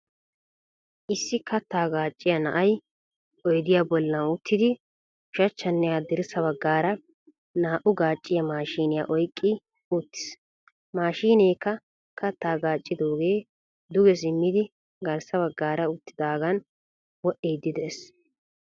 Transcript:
issi kattaa gacciyaa na7ay oydiya bollan uttidi ushshachanne haddirssa baggara naa7u gacciyaa maashiniya oyqqi uttis. maashinekka kattaa gaccidoogee duge simmidi garsa baggara uttidagan wodhidi de7ees.